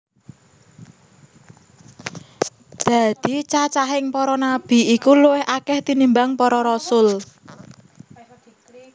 Dadi cacahing para nabi iku luwih akèh tinimbang para rasul